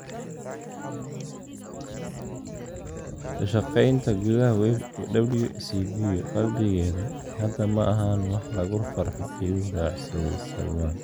Ka shaqeynta gudaha WCB, qalbigeeda, hadda ma ahan wax lagu farxo," ayuu raaciyay Sallam.